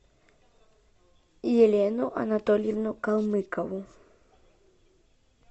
елену анатольевну калмыкову